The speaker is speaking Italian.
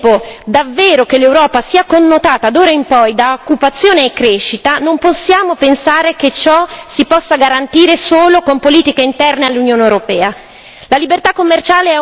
Ma se vogliamo al contempo, davvero, che l'Europa sia connotata d'ora in poi da occupazione e crescita, non possiamo pensare che ciò si possa garantire solo con politiche interne all'Unione europea.